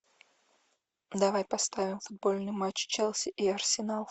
давай поставим футбольный матч челси и арсенал